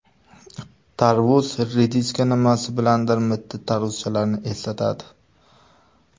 Tarvuz rediska nimasi bilandir mitti tarvuzchalarni eslatadi.